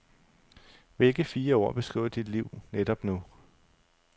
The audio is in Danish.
Hvilke fire ord beskriver dit liv netop nu?